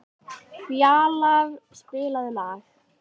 Fjalarr, spilaðu lag.